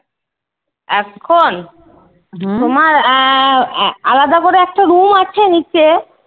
এখন? তোমার আহ আলাদা করে একটা room আছে নিচে।